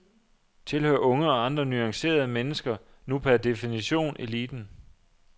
Tilhører unge og andre nuancerede mennesker nu per definition eliten?